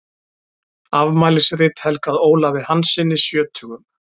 Afmælisrit helgað Ólafi Hanssyni sjötugum.